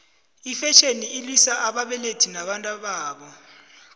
ifetjheni ilwisa ababelethi nabantababo